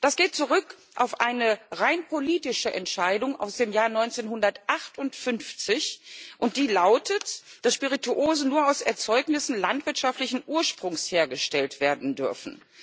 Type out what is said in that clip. Das geht zurück auf eine rein politische Entscheidung aus dem Jahr 1958, und die lautet, dass Spirituosen nur aus Erzeugnissen landwirtschaftlichen Ursprungs hergestellt werden dürfen.